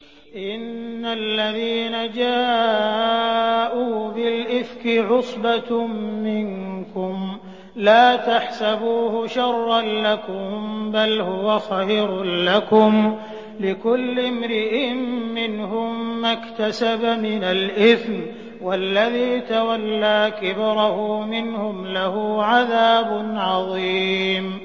إِنَّ الَّذِينَ جَاءُوا بِالْإِفْكِ عُصْبَةٌ مِّنكُمْ ۚ لَا تَحْسَبُوهُ شَرًّا لَّكُم ۖ بَلْ هُوَ خَيْرٌ لَّكُمْ ۚ لِكُلِّ امْرِئٍ مِّنْهُم مَّا اكْتَسَبَ مِنَ الْإِثْمِ ۚ وَالَّذِي تَوَلَّىٰ كِبْرَهُ مِنْهُمْ لَهُ عَذَابٌ عَظِيمٌ